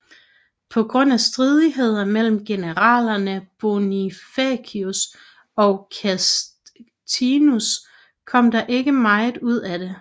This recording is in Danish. På grund af stridigheder mellem generalerne Bonifacius og Castinus kom der ikke meget ud af det